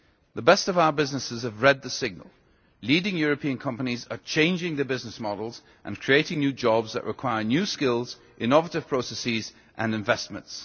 The best of our businesses have read the signal leading European companies are changing their business models, and creating new jobs that require new skills, innovative processes and investments.